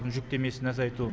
жүктемесін азайту